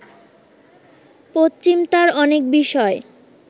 পশ্চিম তার অনেক বিষয়